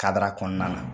Kadara kɔnɔna na